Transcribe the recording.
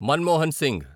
Manmohan Singh